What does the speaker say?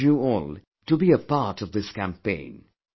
I urge you all to be a part of this campaign